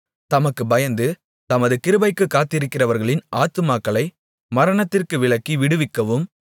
தமக்குப் பயந்து தமது கிருபைக்குக் காத்திருக்கிறவர்களின் ஆத்துமாக்களை மரணத்திற்கு விலக்கி விடுவிக்கவும்